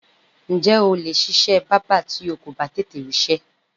Ǹjé̩ o lè s̩is̩é̩ bábà tí o kò bá tètè rís̩é̩?